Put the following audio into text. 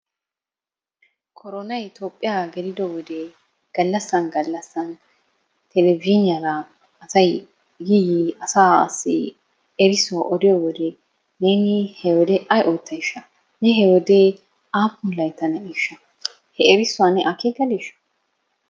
Koronay Toophphiya gelido wode gallassan gallassan televizhzhiiniyara asay yi yiidi asaassi erissuwa odiyo wode neeni he wode ay oottayshsha? Ne he wode aappun Laytta na'eeshsha? He erissuwa ne akeekadiishsha?